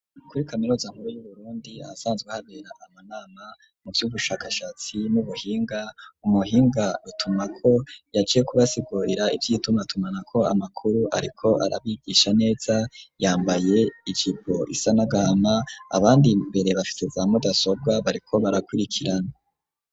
Kuri kaminuza nkuru, y'Uburundi, ahasanzwe habera, amanana, mu vy'ubushakashatsi, n'ubuhinga, umuhinga rutumwako, yaje kubasigurira, ivy'itumatumanako amakuru; ariko arabigisha neza, yambaye ijipo isa n'agahama, abandi imbere, bafise za mudasobwa, bariko barakwirikirana.